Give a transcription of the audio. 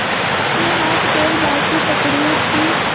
उसके हाथपैर बासी ककड़ियों की